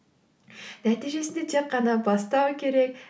нәтижесінде тек қана бастау керек